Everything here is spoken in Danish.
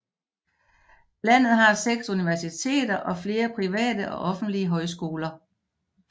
Landet har 6 universiteter og flere private og offentlige højskoler